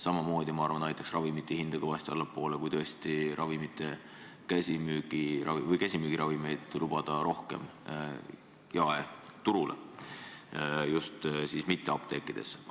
Samamoodi aitaks minu arvates ravimite hinda kõvasti allapoole viia, kui käsimüügiravimeid lubataks rohkem jaeturule, nii et neid ei müüdaks ainult apteekides.